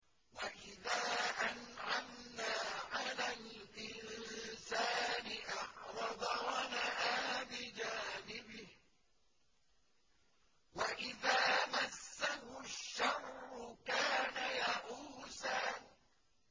وَإِذَا أَنْعَمْنَا عَلَى الْإِنسَانِ أَعْرَضَ وَنَأَىٰ بِجَانِبِهِ ۖ وَإِذَا مَسَّهُ الشَّرُّ كَانَ يَئُوسًا